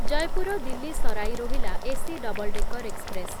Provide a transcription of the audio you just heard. Jaipur Delhi Sarai Rohilla AC double decker express